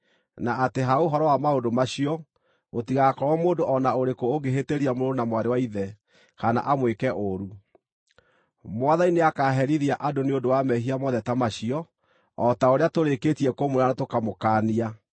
na atĩ ha ũhoro wa maũndũ macio, gũtigakorwo mũndũ o na ũrĩkũ ũngĩhĩtĩria mũrũ na mwarĩ wa ithe, kana amwĩke ũũru. Mwathani nĩakaherithia andũ nĩ ũndũ wa mehia mothe ta macio, o ta ũrĩa tũrĩkĩtie kũmwĩra na tũkamũkaania.